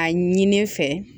A ɲini ne fɛ